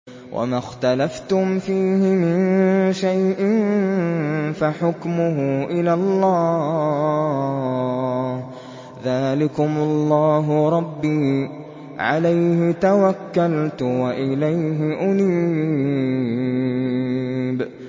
وَمَا اخْتَلَفْتُمْ فِيهِ مِن شَيْءٍ فَحُكْمُهُ إِلَى اللَّهِ ۚ ذَٰلِكُمُ اللَّهُ رَبِّي عَلَيْهِ تَوَكَّلْتُ وَإِلَيْهِ أُنِيبُ